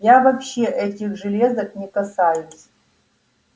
я вообще этих железок не касаюсь